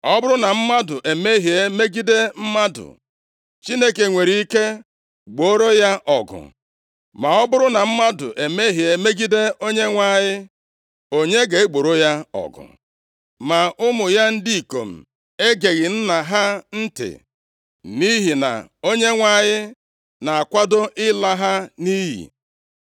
Ọ bụrụ na mmadụ emehie megide mmadụ, Chineke nwere ike gbooro ya ọgụ. Ma ọ bụrụ na mmadụ emehie megide Onyenwe anyị, onye ga-egboro ya ọgụ?” Ma ụmụ ya ndị ikom egeghị nna ha ntị, nʼihi na Onyenwe anyị na-akwado ịla ha nʼiyi.